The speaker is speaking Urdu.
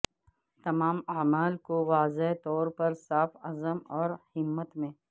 تمام اعمال کو واضح طور پر صاف عزم اور ہمت میں